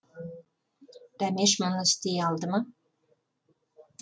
дәмеш мұны істей алды ма